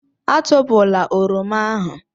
Atụpụla Oroma ahụ.